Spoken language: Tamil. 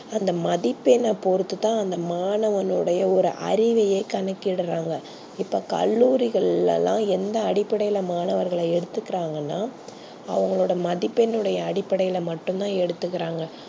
அந்த மதிப்பெண் பொறுத்துதா அந்த மாணவன் நோட ஒரு அறிவையே கணக்கிடுறாங்க இப்போ கல்லூரி கல்ல லா எந்த அடிபடையில மாணவர்கள எடுத்து குராங்கனா அவங்கலோட மதிப்பெண் அடிப்படையில தா எடுத் துகுறாங்க